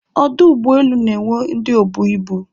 Ọdụ ụgbọelu na-enwe ndị obu ibu